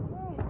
O, o!